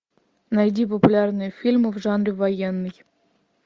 найди популярные фильмы в жанре военный